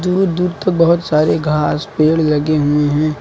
दूर दूर तक बहोत सारे घास पेड़ लगे हुए है।